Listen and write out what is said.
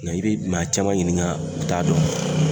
Nka i bi maa caman ɲininka u t'a dɔn.